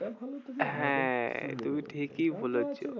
হ্যাঁ তুমি ঠিকই বলেছো।